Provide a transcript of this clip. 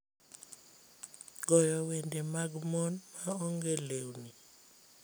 goyo wende mag mon ma onge lewni